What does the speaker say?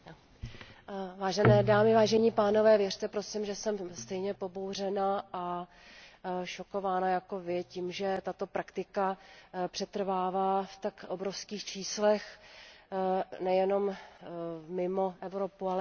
Vážené dámy, vážení pánové, věřte, prosím, že jsem stejně pobouřená a šokována jako vy tím, že tato praktika přetrvává v tak obrovských číslech nejenom mimo Evropu, ale i v Evropě.